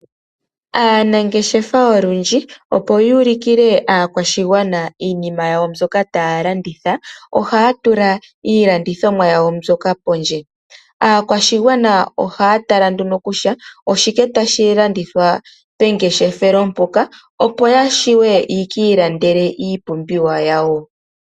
Aanangeshefa olundji opo yu ulukile aakwashigwana iinima yawo mbyoka taya landitha ohaya tula iilandithomwa yawo mbyoka pondje. Aakwashigwana ohaya tala nduno shoka tashi landithwa pengeshefelo mpoka, opo ya vule ye ki ilandele iipumbiwa yawo.